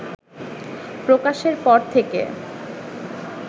প্রকাশের পর থেকে